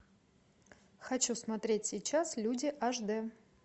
хочу смотреть сейчас люди аш д